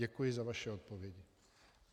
Děkuji za vaše odpovědi.